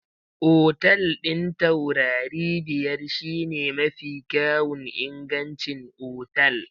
Otal ɗin taurari biyar shine mafi kyawun ingancin otal.